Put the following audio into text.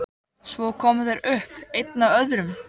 Svo koma þeir upp, einn af öðrum.